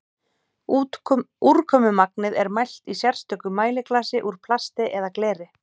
úrkomumagnið er mælt í sérstöku mæliglasi úr plasti eða gleri